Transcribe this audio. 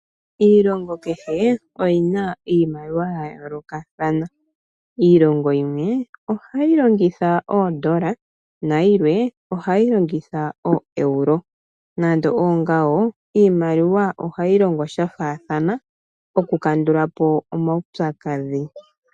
Iilonga kehe oyi na iimaliwa yayoolokathana . Iilonga yimwe ohayi longitha oondola nayimwe ohayi longitha oo'Euro . Nande oongawo iimaliwa mbino ohayi longo shafaathana oku kandalapo omaupyakadhi .